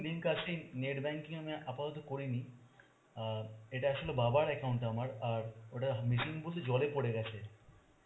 link আছে net banking আমি আপাতত করিনি. অ্যাঁ এটা আসলে বাবার account আমার আর ওটা missing বলতে জলে পরে গেছে.